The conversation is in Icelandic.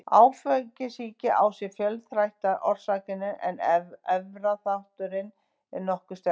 Áfengissýki á sér fjölþættar orsakir en erfðaþátturinn er nokkuð sterkur.